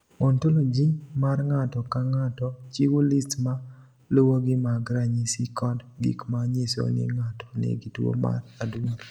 "Ontoloji mar ng’ato ka ng’ato chiwo list ma luwogi mag ranyisi kod gik ma nyiso ni ng’ato nigi tuwo mar adundo."